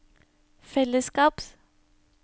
fellesskaps